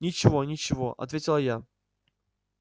ничего ничего ответила я